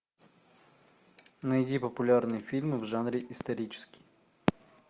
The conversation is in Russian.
найди популярные фильмы в жанре исторический